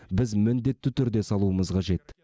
біз міндетті түрде салуымыз қажет